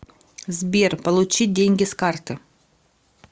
сбер получить деньги с карты